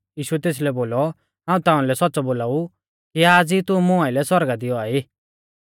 यीशुऐ तेसलै बोलौ हाऊं ताउंलै सौच़्च़ौ बोलाऊ कि आज़ ई तू मुं आइलै सौरगा i दी औआ ई